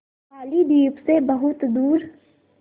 बालीद्वीप सें बहुत दूर